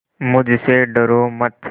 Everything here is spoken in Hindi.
मुझसे डरो मत